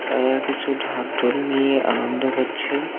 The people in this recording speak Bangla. তারা কিছু ঢাকঢোল নিয়ে আনন্দ করছে।